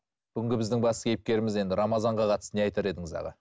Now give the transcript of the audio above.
бүгінгі біздің басты кейіпкеріміз енді рамазанға қатысты не айтар едіңіз аға